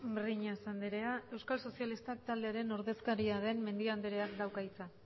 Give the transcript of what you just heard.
breñas anderea euskal sozialistak taldearen ordezkariaren mendia andereak dauka hitza